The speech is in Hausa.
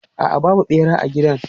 A'a, babu ɓera a gidan.